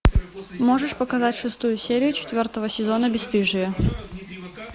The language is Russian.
можешь показать шестую серия четвертого сезона бесстыжие